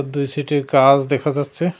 দুই সাইট -এ গাছ দেখা যাচ্ছে।